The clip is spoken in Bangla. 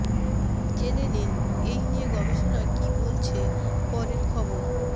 জেনে নিন এই নিয়ে গবেষণা কী বলছে পরের খবর